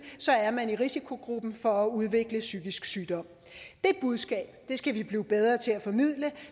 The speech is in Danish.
er man i risikogruppen for at udvikle psykisk sygdom det budskab skal vi blive bedre til at formidle